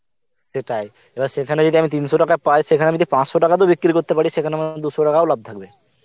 সেটাই, এবার সেখানে যদি আমি তিনশো টাকা পাই সেখানে আমি যদি পাঁচশো টাকাতেও বিক্রি করতে পারি সেখানে আমার দুশো টাকাও লাভ থাকবে